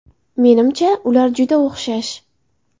Menimcha, ular juda o‘xshash”.